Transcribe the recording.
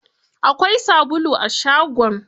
Akwai sabulu a shagon?